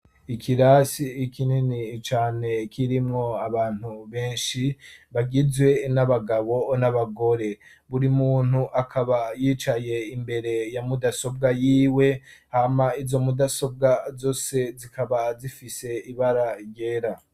Ikirasi kinini cane kirimwo abantu benshi bagizwe n'abagabo n'abagore buri muntu akaba yicaye imbere ya mudasobwa yiwe hama izo mudasobwa zose zikaba zifise ibara ryera.